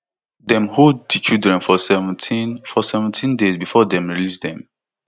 dem hold di children for seventeen for seventeen days before dem release dem